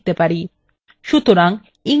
আমরা এখন ইংরেজিতে লিখতে পারি